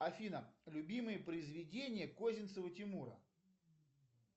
афина любимые произведения козинцева тимура